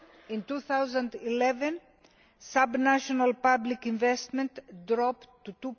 In 2011 sub national public investment dropped to